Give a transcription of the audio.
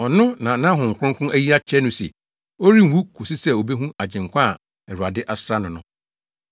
Ɔno na na Honhom Kronkron ayi akyerɛ no se ɔrenwu kosi sɛ obehu Agyenkwa a Awurade asra no no.